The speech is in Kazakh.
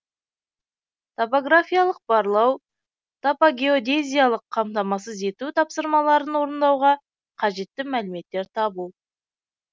топографиялық барлау топогеодезиялық камтамасыз ету тапсырмаларын орындауға кажетті мәліметтер табу